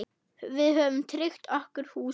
Við höfum tryggt okkur húsið.